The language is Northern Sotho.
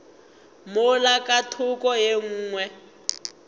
mola ka thoko ye nngwe